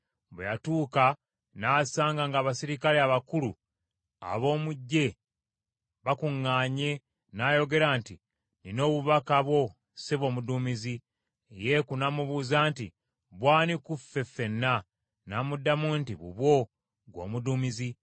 Bwe yatuuka, n’asanga ng’abaserikale abakulu ab’omu ggye bakuŋŋaanye n’ayogera nti, “Nnina obubaka bwo, ssebo omuduumizi.” Yeeku n’amubuuza nti, “Bw’ani ku ffe ffenna?” N’amuddamu nti, “Bubwo, ggwe omuduumizi.”